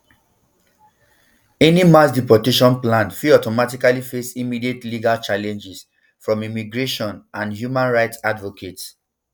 any mass deportation plan fit automatically face immediate legal challenges from immigration and human rights advocates